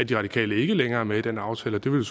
de radikale ikke længere er med i den aftale det ville